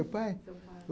O pai? seu pai...